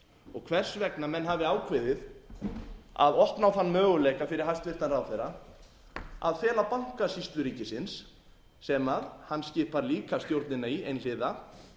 og hvers vegna menn hafi ákveðið að opna á þann möguleika fyrir hæstvirtan ráðherra að fela bankasýslu ríkisins sem hann skipar líka stjórnina í einhliða